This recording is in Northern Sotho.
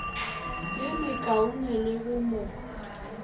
ye mekaone le go mo